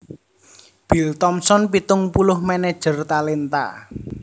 Bill Thompson pitung puluh manajer talenta